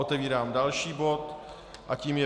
Otevírám další bod a tím je